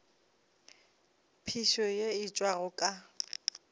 phišo ye e tšwago ka